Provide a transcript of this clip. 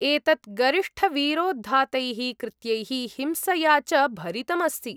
एतत् गरिष्ठवीरोद्धातैः कृत्यैः हिंसया च भरितम् अस्ति ।